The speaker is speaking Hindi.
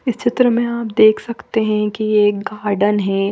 इस चित्र में आप देख सकते है की यह गार्डन है।